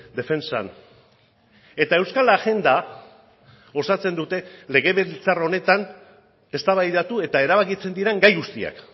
defentsan eta euskal agenda osatzen dute legebiltzar honetan eztabaidatu eta erabakitzen diren gai guztiak